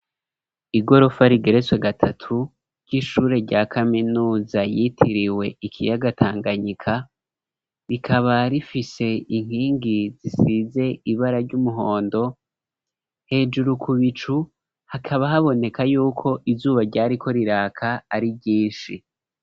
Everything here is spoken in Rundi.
Igorofa, rigeretswe gatatu, ry'ishure rya kaminuza, yitiriwe ikiyaga Tanganyika; rikaba rifise inkingi, zisize ibara ry'umuhondo; hejuru ku bicu, hakaba, haboneka y'uko, izuba ryariko riraka, ari ryinshi.